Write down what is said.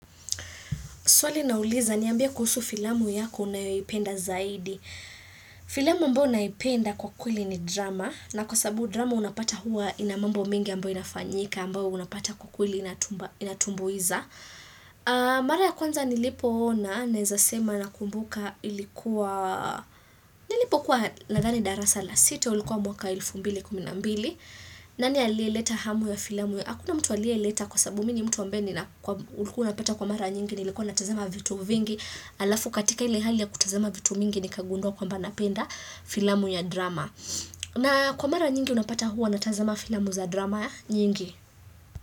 Swali linauliza ni ambie kuhusu filamu yako unayoiipenda zaidi. Filamu ambao naipenda kwa kweli ni drama. Na kwa sababu drama unapata huwa inamambo mingi ambayo inafanyika ambao unapata kwa kweli inatumbuiza. Mara ya kwanza nilipo ona naezasema na kumbuka ilikuwa Nilipokuwa nadhani darasa la sita ulikuwa mwaka wa elfu mbili kuminambili. Nani aliye leta hamu ya filamu ya? Hakuna mtu aliye leta kwa sababu mii ni mtu ambaye ni naku ulikuwa unapata kwa mara nyingi ni ilikuwa natazama vitu vingi alafu katika ile hali ya kutazama vitu mingi ni kakagundua kwamba napenda filamu ya drama. Na kwa mara nyingi unapata huwa natazama filamu za drama nyingi.